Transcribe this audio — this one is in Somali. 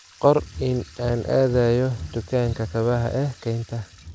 qor in aan aadayo dukaanka kabaha ee kaynta